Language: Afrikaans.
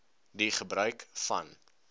die gebruik van